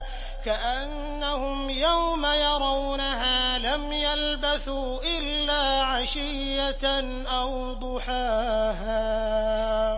كَأَنَّهُمْ يَوْمَ يَرَوْنَهَا لَمْ يَلْبَثُوا إِلَّا عَشِيَّةً أَوْ ضُحَاهَا